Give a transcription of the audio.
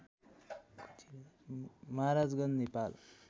Maharajganj Nepal